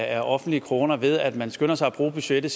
af offentlige kroner ved at man skynder sig at bruge budgettet